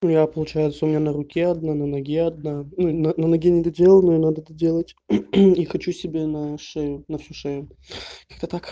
ну я получается у меня на руке одна на ноге одна ну на на ноге недоделанная надо доделать и хочу себе на шею на всю шею как-то так